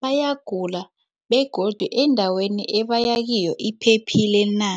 bayagula begodu endaweni ebaya kiyo iphephile na.